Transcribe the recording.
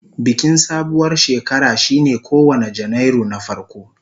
Bikin sabuwar shekara shine kowane Janairu na farko.